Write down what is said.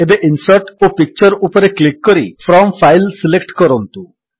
ଏବେ ଇନସର୍ଟ ଓ ପିକ୍ଚର ଉପରେ କ୍ଲିକ୍ କରି ଫ୍ରମ୍ ଫାଇଲ୍ ସିଲେକ୍ଟ କରନ୍ତୁ